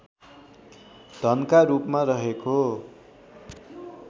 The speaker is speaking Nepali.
धनका रूपमा रहेको